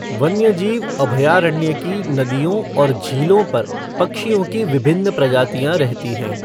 वन्यजीव अभयारण्य की नदियों और झीलों पर पक्षियों की विभिन्न प्रजातियाँ रहती हैं।